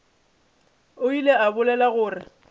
o ile a bolela gore